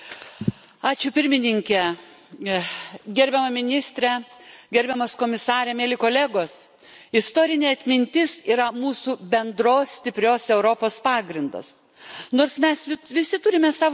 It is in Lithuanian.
Gerbiama Pirmininke, gerbiama Ministre, gerbiamas Komisare, mieli kolegos, istorinė atmintis yra mūsų bendros stiprios Europos pagrindas.